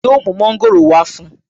Yóò mu Mọ́ńgòrò wá fún un